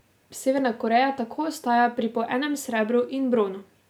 Severna Koreja tako ostaja pri po enem srebru in bronu.